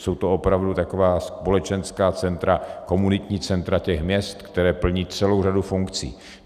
Jsou to opravdu taková společenská centra, komunitní centra těch měst, která plní celou řadu funkcí.